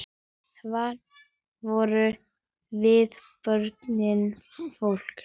Hver voru viðbrögð fólks?